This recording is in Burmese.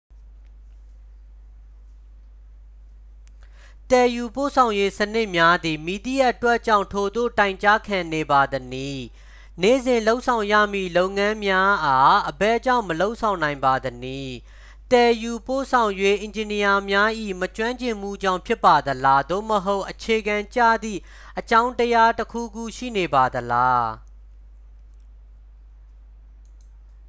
သယ်ယူပို့ဆောင်ရေးစနစ်များသည် မည်သည့်အတွက်ကြောင့် ထိုသို့တိုင်ကြားခံနေပါသနည်း နေ့စဉ်လုပ်ဆောင်ရမည့်လုပ်ငန်းများအား အဘယ်ကြောင့်မလုပ်ဆောင်နိုင်ပါသနည် သယ်ယူပို့ဆောင်ရေးအင်ဂျင်နီယာများ၏ မကျွင်းကျင်မှုကြောင့် ဖြစ်ပါသလား သို့မဟုတ် အခြေခံကျသည့်အကြောင်းတရားတစ်ခုခု ရှိနေပါသလား